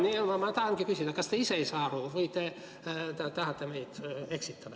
Nüüd ma tahangi küsida, et kas te ise ei saa asjast aru või te tahate meid eksitada.